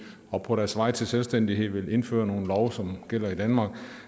og på deres vej til selvstændighed vil indføre nogle love som gælder i danmark